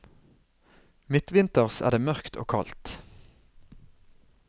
Midtvinters er det mørkt og kaldt.